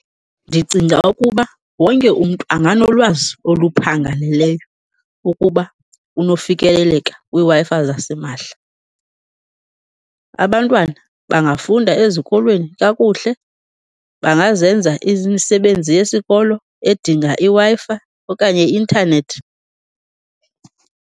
Ndicinga ukuba wonke umntu anganolwazi oluphangaleleyo ukuba unofikeleleka kwiWi-Fi zasimahla. Abantwana bangafunda ezikolweni kakuhle, bangazenza imisebenzi yesikolo edinga iWi-Fi okanye i-intanethi.